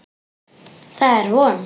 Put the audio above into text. Það er von.